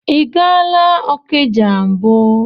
I gaala Okija mbụ?